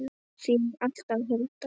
Þín alltaf, Hulda.